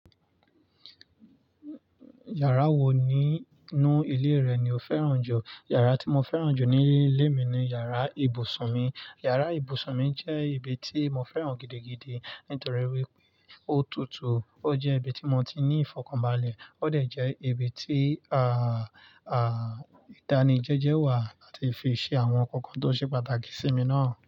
Iyàrá wo nínú ilé rẹ ni o fẹ́ràn jù? Iyàrá tí mo fẹ́ràn jù ní ilé mi ni iyàrá ibùsùn mi. Iyàrá ibùsùn mi jẹ́ ibi tí mo fẹ́ràn gidigidi nítorí wípé ó tutù, ó jẹ́ ibi tí mo ti ní ìfọ̀kànbalẹ̀, ó dẹ̀ jẹ́ ibi tí, àà, ìdánìjẹjẹ wà láti fi ṣe àwọn ǹkan kan tó ṣe pàtàkì sí mi náà.